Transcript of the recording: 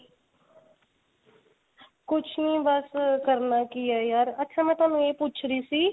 ਕੁੱਝ ਨਹੀਂ ਬੱਸ ਕਰਨਾ ਕੀ ਹੈ ਯਾਰ ਅੱਛਾ ਮੈਂ ਤੁਹਾਨੂੰ ਇਹ ਪੁੱਛ ਰਹੀ ਸੀ